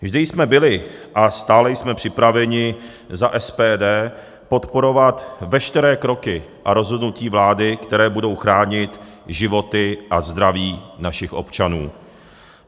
Vždy jsme byli a stále jsme připraveni za SPD podporovat veškeré kroky a rozhodnutí vlády, které budou chránit životy a zdraví našich občanů.